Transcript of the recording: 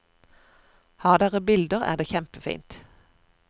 Har dere bilder er det kjempefint.